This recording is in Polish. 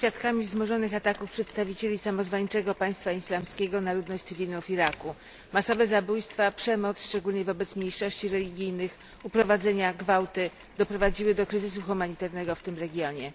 Jesteśmy świadkami wzmożonych ataków przedstawicieli samozwańczego Państwa Islamskiego na ludność cywilną w Iraku. Masowe zabójstwa, przemoc, szczególnie wobec mniejszości religijnych, uprowadzenia, gwałty doprowadziły do kryzysu humanitarnego w tym regionie.